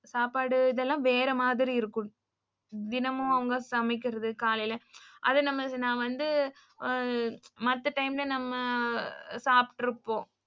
சாப்பாடு இதெல்லாம் வேற மாதிரி இருக்கும் தினமும் அவங்க சமைக்குறது காலைல அது நம்மளுக்கு நா வந்து மத்த டைம்ல நம்ம சாப்டுருப்போம்.